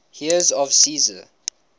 heirs of caesar